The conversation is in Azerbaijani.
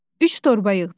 Üç torba yığdım.